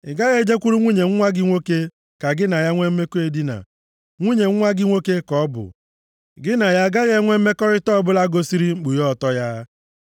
“ ‘Ị gaghị e jekwuru nwunye nwa gị nwoke ka gị na ya nwe mmekọ edina; nwunye nwa gị nwoke ka ọ bụ; gị na ya agaghị enwe mmekọrịta ọbụla gosiri mkpughe ọtọ ya.